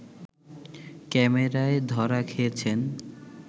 ক্যামেরায় ধরা খেয়েছেন